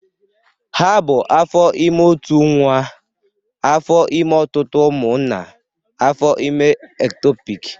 Ha bụ afọ ime ótù nwa, afọ ime ọtụtụ ụmụ na afọ ime ektopiki.